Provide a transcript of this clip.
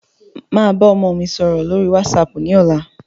Màá bá ọmọ mi sọ̀rọ̀ lórí wásaàpù ní ọ̀la.